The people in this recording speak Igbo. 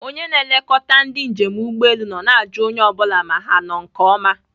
Onye na-elekọta ndị njem ụgbọelu nọ na-ajụ onye ọ bụla ma ha nọ nke oma